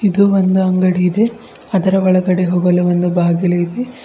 ಇದು ಒಂದು ಅಂಗಡಿ ಇದೆ ಅದರ ಒಳಗಡೆ ಹೋಗಲು ಒಂದು ಬಾಗಿಲು ಇದೆ.